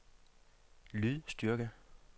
lydstyrke